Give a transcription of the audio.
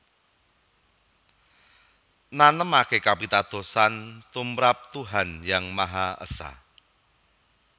Nanemaké kapitadosan tumrap Tuhan Yang Maha Esa